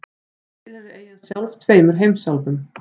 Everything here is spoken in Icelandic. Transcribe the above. Þannig tilheyrir eyjan sjálf tveimur heimsálfum.